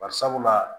Bari sabula